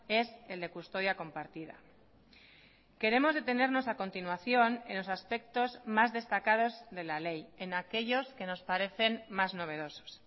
es el de custodia compartida queremos detenernos a continuación en los aspectos más destacados de la ley en aquellos que nos parecen más novedosos